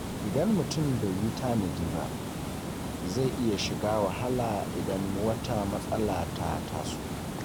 Idan mutum bai yi tanadi ba, zai iya shiga wahala idan wata matsala ta taso.